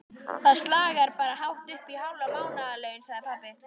Það slagar bara hátt uppí hálf mánaðarlaun, sagði pabbi.